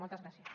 moltes gràcies